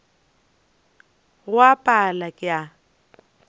go a pala ke a